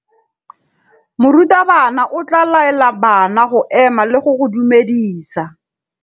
Morutabana o tla laela bana go ema le go go dumedisa.